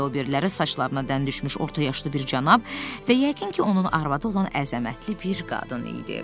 O biriləri saçlarına dən düşmüş orta yaşlı bir cənab və yəqin ki, onun arvadı olan əzəmətli bir qadın idi.